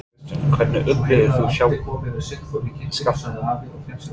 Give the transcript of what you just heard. Kristján: Hvernig upplifðir þú sjálf skjálftann?